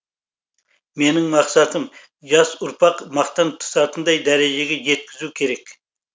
менің мақсатым жас ұрпақ мақтан тұтатындай дәрежеге жеткізу керек